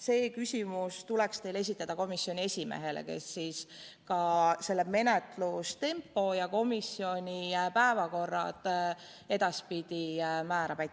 See küsimus tuleks teil esitada komisjoni esimehele, kes ka menetlustempo ja komisjoni päevakorra edaspidi määrab.